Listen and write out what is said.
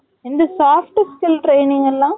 இந்த soft skill training எல்லாம்